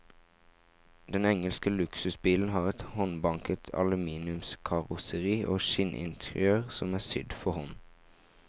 Den engelske luksusbilen har et håndbanket aluminiumskarosseri og skinninteriør som er sydd for hånd.